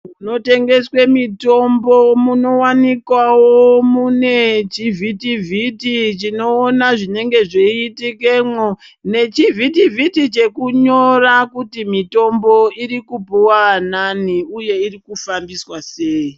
Munotengeswa mitombo minowanikwawo mune chivhiti vhiti chinoona zvinenge zveiona zvinenge zveiitikemwo nechivhiti vhiti chinoona kuti mitombo iri kupuwa anani uye zvirikufambiswa sei.